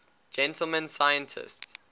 gentleman scientists